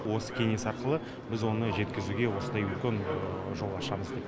осы кеңес арқылы біз оны жеткізуге осындай үлкен жол ашамыз деп